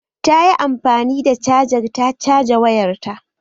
Ta yi amfani da cajar ta caja wayarta?